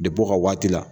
Depi u ka waati la